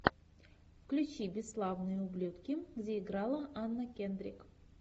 включи бесславные ублюдки где играла анна кендрик